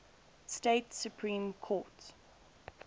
state supreme court